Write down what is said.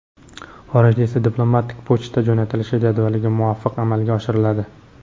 xorijda esa – diplomatik pochta jo‘natilishi jadvaliga muvofiq amalga oshiriladi.